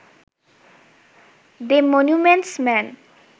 the monuments main